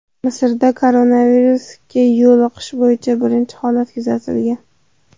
Misrda koronavirusga yo‘liqish bo‘yicha birinchi holat kuzatilgan .